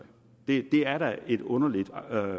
det er da et underligt